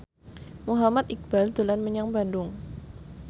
Muhammad Iqbal dolan menyang Bandung